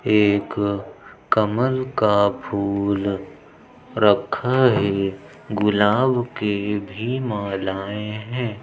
एक कमल का फूल रखा है। गुलाब के भी मालाएं हैं।